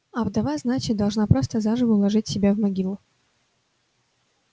а вдова значит должна просто заживо уложить себя в могилу